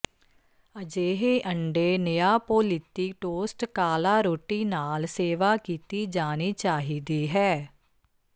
ਅਜਿਹੇ ਅੰਡੇ ਨਿਆਪੋਲੀਤੀ ਟੋਸਟ ਕਾਲਾ ਰੋਟੀ ਨਾਲ ਸੇਵਾ ਕੀਤੀ ਜਾਣੀ ਚਾਹੀਦੀ ਹੈ